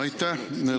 Aitäh!